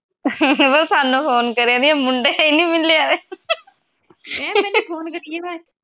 ਸਾਨੂੰ ਫੋਨ ਕਰੇ ਦੀਆ ਮੁੰਡੇ ਹੈ ਨਹੀਂ ਮਿਲਨੇ ਵਾਲੇ